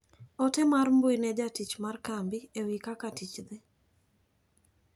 Ote mar mbui ne jatich mar kambi ewi kaka tich dhi.